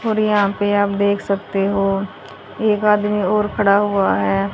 और यहां पे आप देख सकते हो एक आदमी और खड़ा हुआ है।